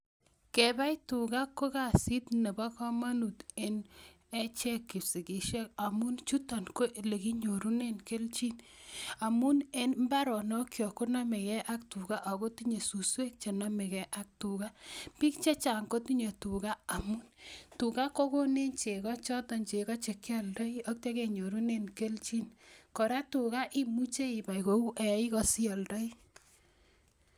Kebai tugaa ko kasit Nebo komonut en echek kipsigisiek, ak nitok ko elekinyorunen kelchin amun mbaronokchok konome gee ak tugaa ako tinye suswek chenomege ak tugaa, bik chechang kotinye tugaa ako tugaa kokonech chegoo choton chekioldooi aityoo kenyorunen kelchin. Kora tuga imuche ibai kou eik asioldooi